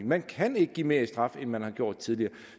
man kan ikke give mere i straf end man har gjort tidligere